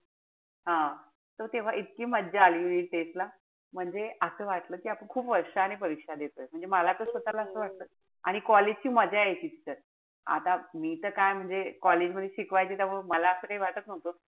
हा. तर तेव्हा इतकी मजा आली test ला. म्हणजे असं वाटलं कि आपण खूप वर्षांनी परीक्षा देतोय. म्हणजे मला तर असं वाटत. आणि college ची मजा यायची तिथं. आता मी त काय म्हणजे college मध्ये शिकवायचे त्यामुळे मला असं काई वाटत नव्हतं.